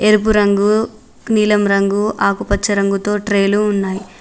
ఎరుపు రంగు నీలం రంగు ఆకుపచ్చ రంగుతో ట్రైలు ఉన్నాయి.